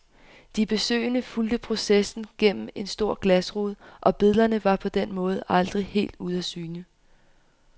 De besøgende fulgte processen gennem en stor glasrude, og billederne var på den måde aldrig helt ude af syne.